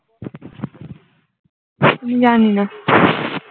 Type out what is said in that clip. জানি না